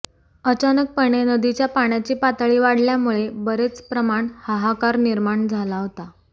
अचानकपणे नदीच्या पाण्याची पातळी वाढल्यामुळे बरेच प्रमाण हाहाकार निर्माण झाला होता